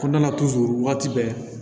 Kɔnɔna na waati bɛɛ